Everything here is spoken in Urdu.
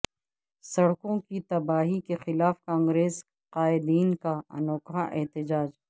سڑکوںکی تباہی کے خلاف کانگریس قائدین کا انوکھا احتجاج